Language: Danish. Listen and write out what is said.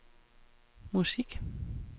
musik